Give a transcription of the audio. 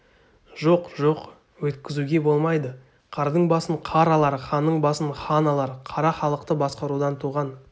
жоқ жоқ өйткізуге болмайды қардың басын қар алар ханның басын хан алар қара халықты басқарудан туған